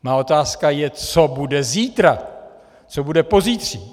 Má otázka je, co bude zítra, co bude pozítří.